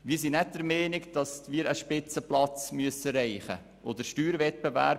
Wir sind nicht der Meinung, dass wir einen Spitzenplatz erreichen müssen.